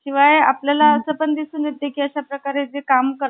दोन अविवाहित मुली~ मुलीही तिथंच अशी अवस्था पाहण्यासाठी राहत होत्या. कर्वे या~ कर्वे,